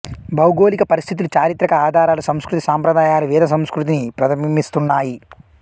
భౌగోళిక పరిస్థితులు చారిత్రక ఆధారాలు సంస్కృతి సంప్రదాయాలు వేదసంస్కృతిని ప్రతిబింబిస్తున్నాయి